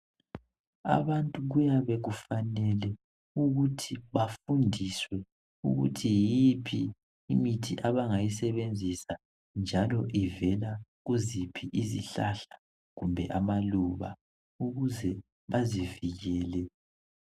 Abantu kuyabe kufanele ukuthi bafundiswe ukuthi yiphi imithi abangayisebenzisa njalo ivela kuziphi izihlahla kumbe amaluba ukuze bazivikele.